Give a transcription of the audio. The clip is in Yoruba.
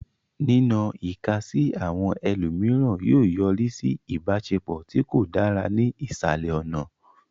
Nínọ ìka sí àwọn ẹlòmíràn yóò yọrí sí ìbáṣepọ̀ tí kò dára ní ìsàlẹ̀ ọ̀nà.